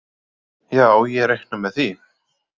Já ég reikna með því.